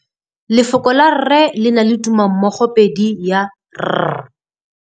Lefoko la rre le na le tumammogôpedi ya, r.